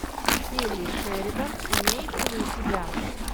келли шеридан имеется ли у тебя